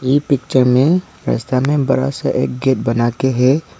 ये पिक्चर में रस्ता में बड़ा सा एक गेट बना के है।